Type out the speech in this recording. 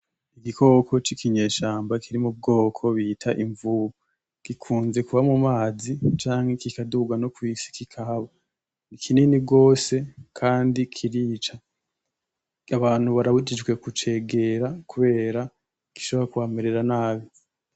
Igikoko cikinyeshamba kiri mu bwoko bita imvubu, gikunze kuba mu mazi canke kikaduga no kw'isi kikahaba, ni kinini gose kandi kirica, abantu barabujijwe kucegera kubera gishobora kubamerera nabi.